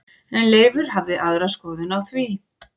En Leifur hafði aðra skoðun á því.